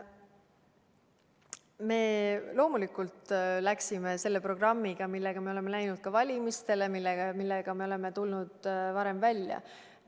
Me loomulikult läksime selle programmiga, millega me oleme läinud ka valimistele, millega me oleme ka varem välja tulnud.